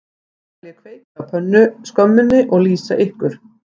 Nú skal ég kveikja á pönnuskömminni og lýsa ykkur